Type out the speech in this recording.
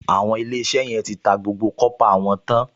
Àwọn Ilé-iṣẹ́ yẹn ti ta gbogbo kọ́pà wọn tán